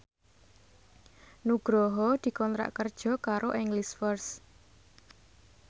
Nugroho dikontrak kerja karo English First